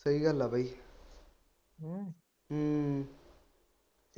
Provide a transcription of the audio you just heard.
ਸਹੀ ਗੱਲ ਆ ਬਈ